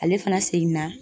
Ale fana seginna